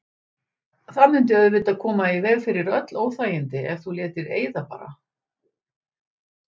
Það mundi auðvitað koma í veg fyrir öll óþægindi ef þú létir eyða bara.